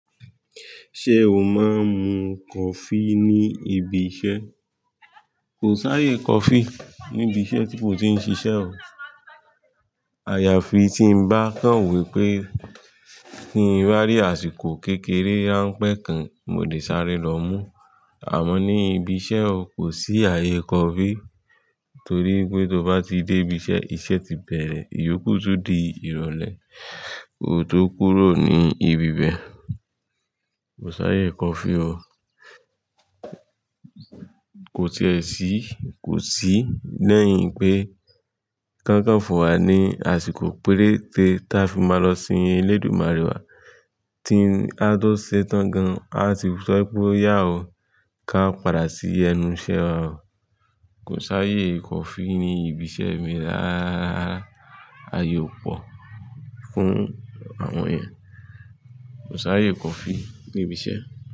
Ṣé o máa ń mu coffee ní ibi iṣẹ́? Kò s'áyè coffee níbi iṣẹ́ tí mo ti ń ṣiṣẹ́ o. Àyàfi tí mo bá kàn wípé ki ń rí àsìkò kékeré ránpẹ́ kan, mo lè sáré lọ mú. Àmọ́ ní ibi iṣẹ́ o, kò sí àyè coffee torí pé tó bá ti dé ibi iṣẹ́, iṣẹ́ ti bẹ̀rẹ̀. Iyókù tún di ìrọ̀lẹ́, kò tó kúrò ní ibi bẹ́ẹ̀. Kò s'áyè coffee o. Kò ti è sí, kò sí. Lẹ́yìn pé kí won kan fun wá ní àsìkò péréte táa fi máa lọ sin elédùmarè wa ki a tó ṣetán gan, a ti sọ pé o yà o, ká padà sí ẹnu iṣẹ́ o. Kò s'áyè coffee ní ibi iṣẹ́ mi rááárá. Àyè ò pọ̀ fún àwọn ènìyàn. Kò s'áyè coffee ní ibi iṣẹ́